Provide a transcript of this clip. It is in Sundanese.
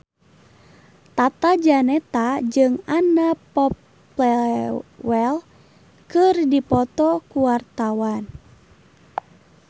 Tata Janeta jeung Anna Popplewell keur dipoto ku wartawan